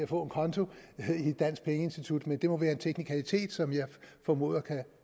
få en konto i et dansk pengeinstitut men det må være en teknikalitet som jeg formoder